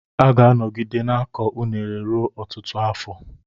A ga-anọgide na-akọ unele ruo ọtụtụ afọ.